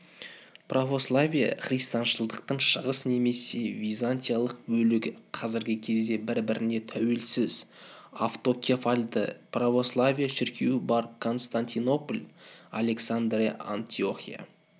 православие-христианшылдықтың шығыс немесе византиялық бөлігі қазіргі кезде бір-біріне тәуелсіз автокефальды православие шіркеуі бар константинопль александрия антиохия